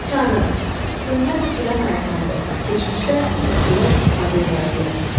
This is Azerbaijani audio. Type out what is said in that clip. Çarıq, göndən tikilən ayaqqabı, keçmişdə kəndlilər istifadə edərdilər.